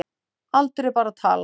Aldur er bara tala.